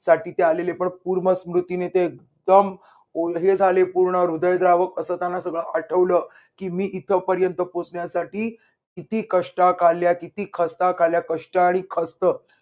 साठी ते आलेले पण पूर्व स्मृतीने ते एकदम ओले झाले पूर्ण हृदयद्रावक असं त्यांना सगळं आठवलं की मी इथपर्यंत पोहोचण्यासाठी किती कष्टा खाल्ल्या किती खस्ता खाल्ल्या कष्ट आणि खस्त